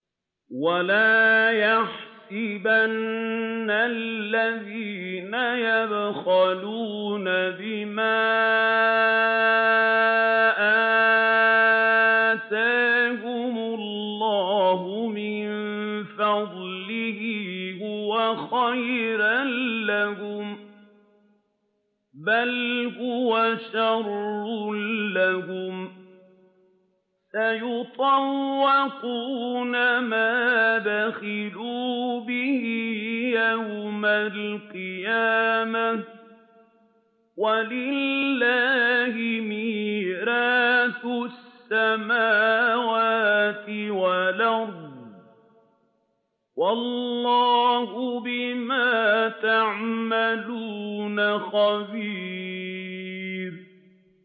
وَلَا يَحْسَبَنَّ الَّذِينَ يَبْخَلُونَ بِمَا آتَاهُمُ اللَّهُ مِن فَضْلِهِ هُوَ خَيْرًا لَّهُم ۖ بَلْ هُوَ شَرٌّ لَّهُمْ ۖ سَيُطَوَّقُونَ مَا بَخِلُوا بِهِ يَوْمَ الْقِيَامَةِ ۗ وَلِلَّهِ مِيرَاثُ السَّمَاوَاتِ وَالْأَرْضِ ۗ وَاللَّهُ بِمَا تَعْمَلُونَ خَبِيرٌ